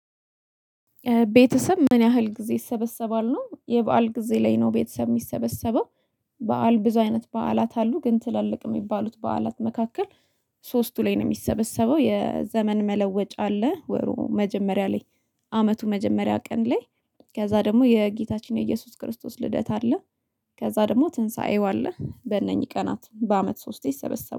ቤተሰብ ምን ያህል ጊዜ ይሰበሰባል ነው የበአል ጊዜ ላይ ነው? ቤተሰብ የሚሰበሰበው። በዓል ብዙ አይነት በዓላት አሉ ግን ትላልቅ የሚባሉት በዓላት መካከል ሶስቱ ላይ ነው። የሚሰበሰበው የዘመን መለወጫ አለ ወሩ መጀመሪያ ላይ አመቱ መጀመሪያ ቀን ላይ። ከዛ ደግሞ የጌታችን የኢየሱስ ክርስቶስ ልደት አለ። ከዛ ደግሞ ትንሳኤው አለ በእነኚህ ቀናት በአመት ሶስቴ ይሰበሰባል